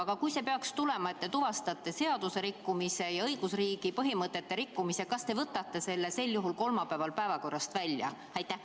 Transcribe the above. Aga kui peaks tulema see, et te tuvastate seaduserikkumise ja õigusriigi põhimõtete rikkumise, siis kas te sel juhul võtate selle kolmapäevasest päevakorrast välja?